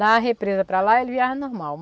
Da represa para lá ele viaja normal.